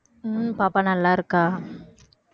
உம் பாப்பா நல்லா இருக்கா